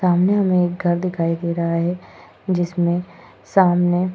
सामने हमें एक घर दिखाई दे रहा है जिसमें सामने --